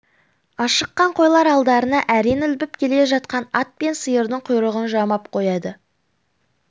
ашыққан қойлар алдарында әрең ілбіп келе жатқан ат пен сиырдың құйрығын жалмап қояды